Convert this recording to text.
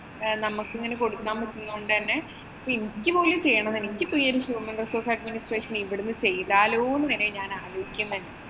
നമ്മക്ക് ഇങ്ങനെ കൊടുക്കാന്‍ പറ്റുന്നത് കൊണ്ട് തന്നെ ഇപ്പൊ എനിക്ക് പോലും ചെയ്യണം human resource administration ഇവിടുന്നു ചെയ്താലോ എന്ന് വരെ ഞാന്‍ ആലോചിക്കുന്നുണ്ട്.